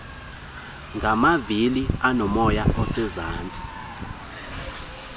ngamavili aonomoya osezantsi